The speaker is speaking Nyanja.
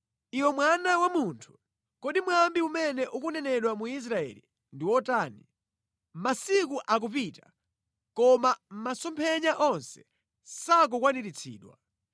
“Iwe mwana wa munthu, kodi mwambi umene ukunenedwa mu Israeli ndi wotani: ‘Masiku akupita koma masomphenya onse sakukwaniritsidwa?’